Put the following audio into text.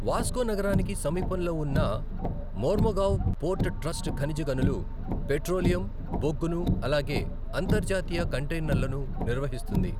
Vasco నగరానికి సమీపంలో ఉన్న మోర్ముగావ్ పోర్ట్ ట్రస్ట్ ఖనిజ గనులు, పెట్రోలియం, బొగ్గును అలాగే అంతర్జాతీయ కంటైనర్లను నిర్వహిస్తుంది.